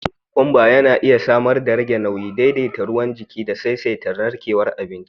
Cin kokomba yana iya samar darage nauyi, daidaita ruwan jiki da saisaita narkewar abinci